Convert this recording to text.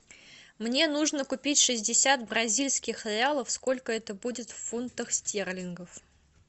мне нужно купить шестьдесят бразильских реалов сколько это будет в фунтах стерлингов